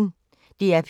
DR P1